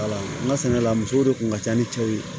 n ka sɛnɛ la musow de kun ka ca ni cɛw ye